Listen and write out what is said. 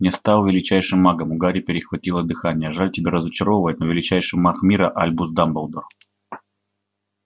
не стал величайшим магом у гарри перехватило дыхание жаль тебя разочаровывать но величайший маг мира альбус дамблдор